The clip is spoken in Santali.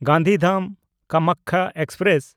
ᱜᱟᱱᱫᱷᱤᱫᱷᱟᱢ–ᱠᱟᱢᱟᱠᱠᱷᱟ ᱮᱠᱥᱯᱨᱮᱥ